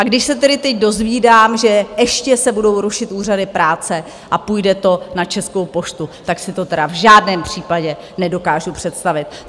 A když se tedy teď dozvídám, že ještě se budou rušit úřady práce a půjde to na Českou poštu, tak si to tedy v žádném případě nedokážu představit.